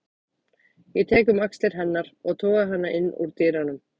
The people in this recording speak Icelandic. Ég tek um axlir hennar og toga hana inn úr dyrunum.